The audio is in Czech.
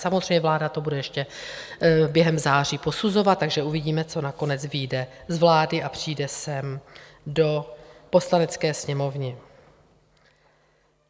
Samozřejmě, vláda to bude ještě během září posuzovat, takže uvidíme, co nakonec vyjde z vlády a přijde sem do Poslanecké sněmovny.